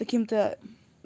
каким-то